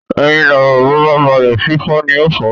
Ẹyin lọ̀rọ̀, bó bá balẹ̀, fífọ́ ní ń fọ́